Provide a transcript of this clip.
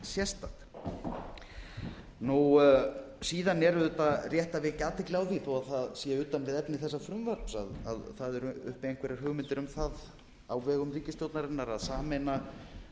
sérstakt síðan er auðvitað rétt að vekja athygli á því þó að það sé utan við efni þessa frumvarps að það eru uppi einhverjar hugmyndir um það á vegum ríkisstjórnarinnar að sameina